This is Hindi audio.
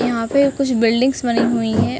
यहाँ पे कुछ बिल्डिंग्स बनी हुई हैं।